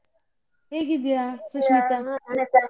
ಹೇಗಿದ್ದೀಯಾ ಸುಷ್ಮಿತಾ?